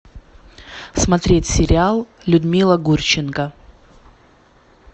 смотреть сериал людмила гурченко